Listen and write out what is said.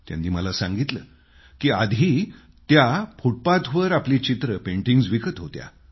त्यांनी मला सांगितलं की आधी त्या फूटपाथवर आपली चित्र पेंटिंग्स विकत होत्या